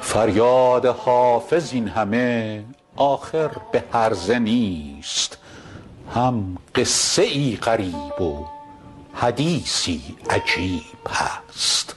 فریاد حافظ این همه آخر به هرزه نیست هم قصه ای غریب و حدیثی عجیب هست